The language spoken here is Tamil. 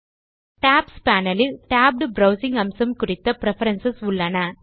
டாப்ஸ் பேனல் இல் டேப்ட் ப்ரவ்சிங் அம்சம் குறித்த பிரெஃபரன்ஸ் உள்ளன